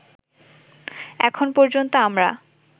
এখন পর্যন্ত আমরা